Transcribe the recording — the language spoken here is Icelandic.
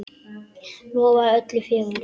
Lofaðir öllu fögru!